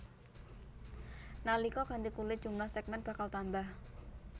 Nalika ganti kulit jumlah sègmèn bakal tambah